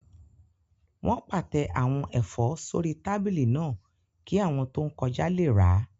Wọ́n pàtẹ àwọn ẹ̀fọ́ sórí tábìlì náà kí àwọn tó ń kọjá lè rà